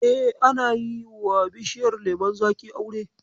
E, ana iya yiwa bishiyar lemon zaƙi aure.